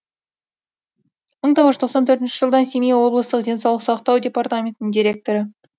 мың тоғыз жүз тоқсан төртінші жылдан семей облыстық денсаулық сақтау департаментінің директоры